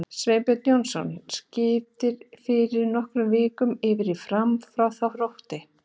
Sveinbjörn Jónasson skipti fyrir nokkrum vikum yfir í Fram frá Þrótti.